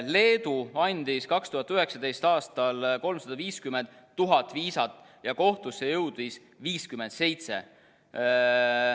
Leedu andis 2019. aastal 350 000 viisat ja kohtusse jõudis 57.